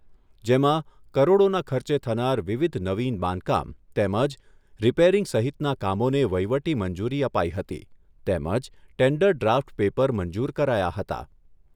જેમાં કરોડોના ખર્ચે થનાર વિવિધ નવીન બાંધકામ તેમજ રીપેરીંગ સહિતના કામોને વહીવટી મંજૂરી અપાઈ હતી તેમજ ટેન્ડર ડ્રાફ્ટ પેપર મંજુર કરાયા હતા.